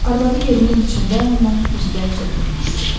Arvadı yerinin içində ondan üzbəüz oturmuşdu.